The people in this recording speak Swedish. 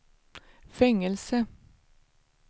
fängelse